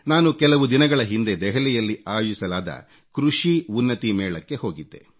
ನಾನು ಕೆಲವು ದಿನಗಳ ಹಿಂದೆ ದೆಹಲಿಯಲ್ಲಿ ಆಯೋಜಿಸಲಾದ ಕೃಷಿ ಉನ್ನತಿ ಮೇಳಕ್ಕೆ ಹೋಗಿದ್ದೆ